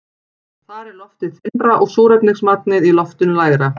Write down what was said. Þar er loftið þynnra og súrefnismagnið í loftinu lægra.